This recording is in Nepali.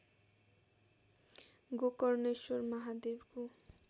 गोकर्णेश्वर महादेवको